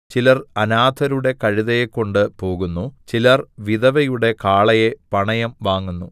ചിലർ അനാഥരുടെ കഴുതയെ കൊണ്ട് പോകുന്നു ചിലർ വിധവയുടെ കാളയെ പണയം വാങ്ങുന്നു